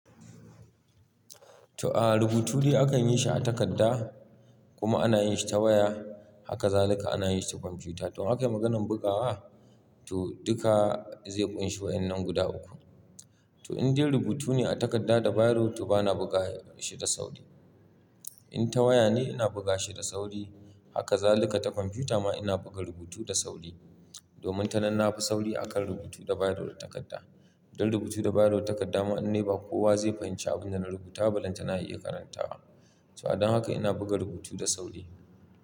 To, a rubutu dai akan yi shi a takarda kuma ana yin shi ta waya. Haka zaluka ana yin shi ta kwamfiyuta. To, ake maganan bugawa? To, duka zai kunshi wa'inan guda uku. To, in dai rubutu ne a takarda da biro to bana buga shi da sauri. In ta waya ne ina buga shi da sauri. Haka zaluka ta kwamfiyuta ma ina buga rubutu da sauri. Domin ta nan na fi sauri akan rubutu da biro da takarda. Don rubutu da biro da takarda ma in ne ba kowa zai fahimci abin da na rubuta ba, illan ta na iya karantawa. To, don haka ina buga rubutu da sauri.